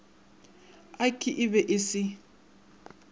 ik e be e se